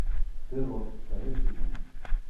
террор второй сезон